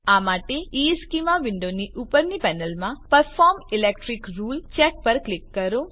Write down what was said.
આ માટે ઇશ્ચેમાં વિન્ડોની ઉપરની પેનલ પરનાં પરફોર્મ ઇલેક્ટ્રિક રુલ્સ ચેક પર ક્લિક કરો